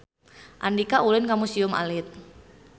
Andika ulin ka Museum Alit